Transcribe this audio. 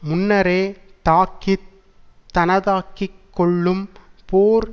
முன்னரே தாக்கி தனதாக்கி கொள்ளும் போர்